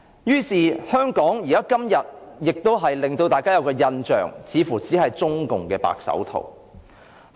於是，香港今天給大家的印象似乎只是中共的"白手套"。